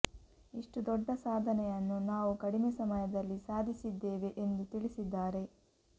ಇಷ್ಟು ದೊಡ್ಡ ಸಾಧನೆಯನ್ನು ನಾವು ಕಡಿಮೆ ಸಮಯದಲ್ಲಿ ಸಾಧಿಸಿದ್ದೇವೆ ಎಂದು ತಿಳಿಸಿದ್ದಾರೆ